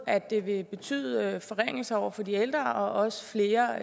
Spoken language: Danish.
at det ville betyde forringelser for de ældre og også flere